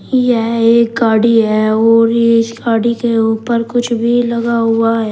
यह एक गाड़ी है और इस गाड़ी के ऊपर कुछ भी लगा हुआ है।